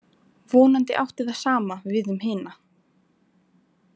Vonandi átti það sama við um hina.